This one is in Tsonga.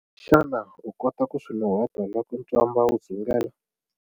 Xana u kota ku swi nuheta loko ntswamba wu dzungela?